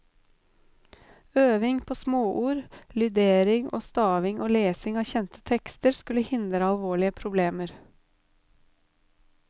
Øving på småord, lydering og staving og lesing av kjente tekster skulle hindre alvorlige problemer.